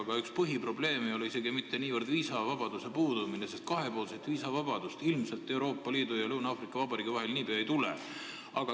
Aga üks põhiprobleeme ei ole siin isegi mitte niivõrd viisavabaduse puudumine, sest kahepoolset viisavabadust Euroopa Liidu ja Lõuna-Aafrika Vabariigi vahel ilmselt niipea ei tule.